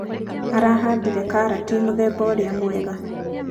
araahandire karati mũthemba ũrĩa mwega.